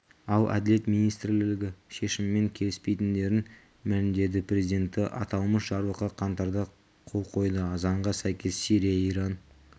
ал әділет министрлігі шешіммен келіспейтіндерін мәлімедеді президенті аталмыш жарлыққа қаңтарда қол қойды заңға сәйкес сирия иран